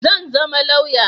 Zan zama lauya.